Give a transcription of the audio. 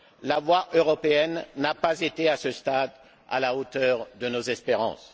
la voix européenne n'a pas été, à ce stade, à la hauteur de nos espérances.